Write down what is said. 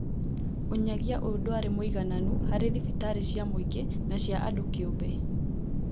Ũnyagia ũyũ ndwarĩ mũigananu harĩ thibitarĩ cia mũingĩ na cia andũ kĩũmbe